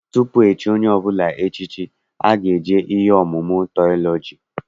Tutu echie onye ọbụla echichi, ọ ga-eje ihe ọmụmụ tiọlọji.